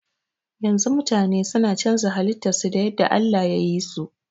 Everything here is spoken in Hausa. Yanzu mutane suna canza halitta su da yadda Allah yayi so